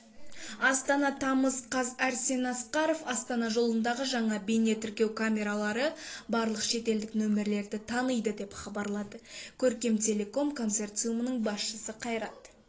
астана тамыз қаз арсен асқаров астана жолындаға жаңа бейнетіркеу камералары барлық шетелдік нөмірлерді таниды деп хабарлады көркем телеком консорциумының басшысы қайрат